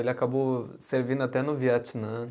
Ele acabou servindo até no Vietnã.